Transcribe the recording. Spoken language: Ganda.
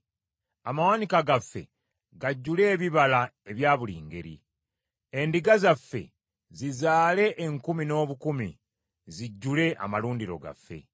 Amawanika gaffe gajjule ebibala ebya buli ngeri. Endiga zaffe zizaale enkumi n’obukumi zijjule amalundiro gaffe.